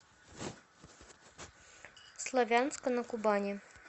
славянска на кубани